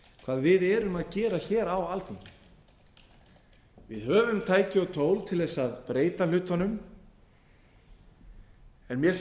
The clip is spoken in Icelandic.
hvað við erum að gera hér á alþingi við höfum tæki og tól til þess að breyta hlutunum en mér